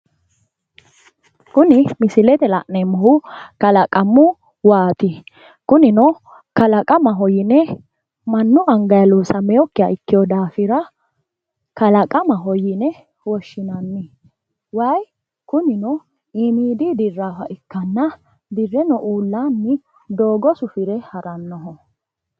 Kunni misilete la'neemohu kallaqamu waati kunnino kallaqamaho yine manu angayi loossameokiha ikkeo daafira kallaqamaho yine woshinnanni wayi kunnino iimidi diraaha ikkanna direno uullaanni dooga sufire haranoho.